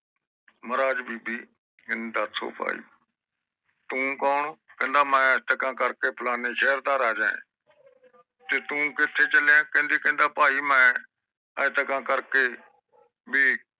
ਮਹਾਰਾਜ ਬੀਬੀ ਕਹਿੰਦੀ ਦਸ ਉਹ ਭਾਈ ਤੂੰ ਕੌਣ ਕਹਿੰਦਾ ਮੈਂ ਇਤਰ ਕਰਕੇ ਫਲਾਣੇ ਸ਼ੇਰ ਦਸ ਰਾਜਾ ਆ ਤੇ ਤੂੰ ਕਿੱਥੇ ਚਲਿਆ ਕਹਿੰਦਾ ਮੈਂ ਇਤਰ ਕਰਕੇ